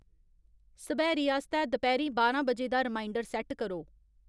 सब्हैरी आस्तै दपैह्री बारां बजे दा रिमाइंडर सैट्ट करो।